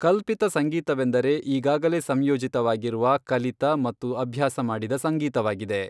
ಕಲ್ಪಿತ ಸಂಗೀತವೆಂದರೆ ಈಗಾಗಲೇ ಸಂಯೋಜಿತವಾಗಿರುವ, ಕಲಿತ, ಮತ್ತು ಅಭ್ಯಾಸ ಮಾಡಿದ ಸಂಗೀತವಾಗಿದೆ.